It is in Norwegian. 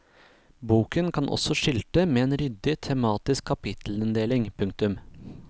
Boken kan også skilte med en ryddig tematisk kapittelinndeling. punktum